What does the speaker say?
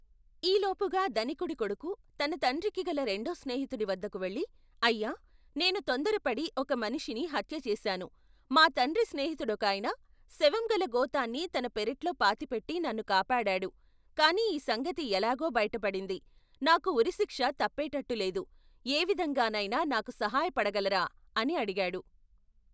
ఈలోపుగా ధనికుడి కొడుకు తన తండ్రికి గల రెండో స్నేహితుడివద్దకు వెళ్ళి, అయ్యా, నేను తొందరపడి ఒక మనిషిని హత్య చేశాను. మా తండ్రి స్నేహితుడొకాయన శవం గల గోతాన్ని తన పెరట్లో పాతిపెట్టి నన్ను కాపాడాడు. కాని ఈ సంగతి ఎలాగో బయటపడింది. నాకు ఉరిశిక్ష తప్పేటట్టు లేదు. ఏవిధంగానైనా నాకు సహయపడగలరా ? అని అడిగాడు.